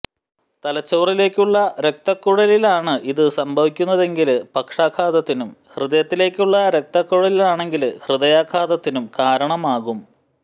തലച്ചോറിലേക്കുള്ള രക്തക്കുഴലുകളിലാണ് ഇത് സംഭവിക്കുന്നതെങ്കില് പക്ഷാഘാതത്തിനും ഹൃദയത്തിലേക്കുള്ള രക്തക്കുഴലുകളിലാണെങ്കില് ഹൃദയാഘാതത്തിനും കാരണമാകും